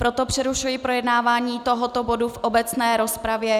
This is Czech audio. Proto přerušuji projednávání tohoto bodu v obecné rozpravě.